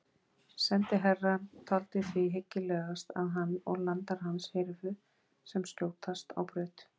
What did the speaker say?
Sendiherrann taldi því hyggilegast að hann og landar hans hyrfu sem skjótast á braut.